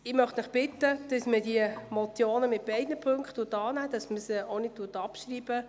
Ich bitte Sie, die Motion in beiden Punkten anzunehmen und nicht abzuschreiben.